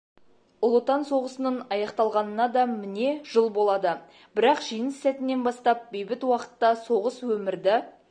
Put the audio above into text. ұлы отан соғысының аяқталғанына да міне жыл болады бірақ жеңіс сәтінен бастап бейбіт уақытта соғыс өмірді